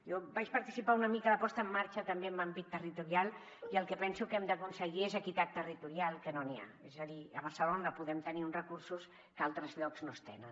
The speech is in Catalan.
jo vaig participar una mica a la posada en marxa també en l’àmbit territorial i el que penso que hem d’aconseguir és equitat territorial que no n’hi ha és a dir a barcelona podem tenir uns recursos que a altres llocs no es tenen